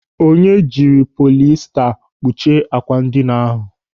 Onye jiri polista kpuchie àkwà ndịna ahụ.